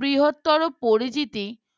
বৃহত্তর ও পরিচিত